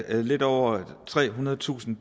at lidt over trehundredetusind